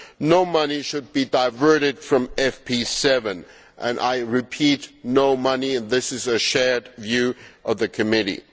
No money should be diverted from FP7 I repeat, no money and this is a shared view of the committee.